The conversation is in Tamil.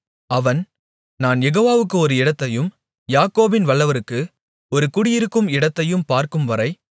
அவன் நான் யெகோவாவுக்கு ஒரு இடத்தையும் யாக்கோபின் வல்லவருக்கு ஒரு குடியிருக்கும் இடத்தையும் பார்க்கும்வரை